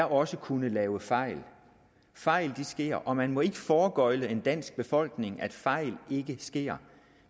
også kunne lave fejl fejl sker og man må ikke foregøgle en dansk befolkning at fejl ikke sker